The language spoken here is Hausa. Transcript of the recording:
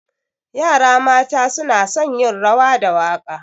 Yara mata suna son yin rawa da waƙa.